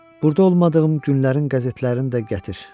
Burda olmadığım günlərin qəzetlərini də gətir.